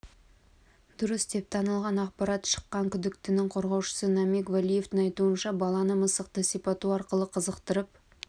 дұрыс деп танылған ақпарат шыққан күдіктінің қорғаушысы намиг валиевтің айтуынша баланы мысықты сипату арқылы қызықтырып